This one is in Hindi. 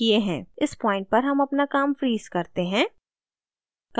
इस point पर हम अपना काम freeze करते हैं